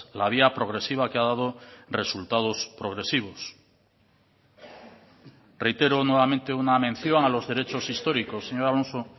la vía progresiva que ha dado resultados progresivos reitero nuevamente una mención a los derechos históricos señor alonso